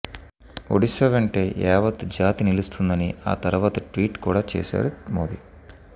ఒడిశా వెంటే యావత్ జాతి నిలుస్తోందని ఆ తర్వాత ట్వీట్ కూడా చేశారు మోదీ